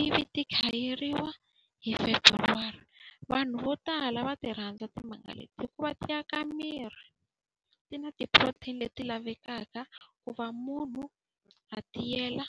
ivi ti khayeriwa hi February. Vanhu vo tala va ti rhandza timanga leti hikuva ti aka miri, ti na ti-protein leti lavekaka ku va munhu a tiyela.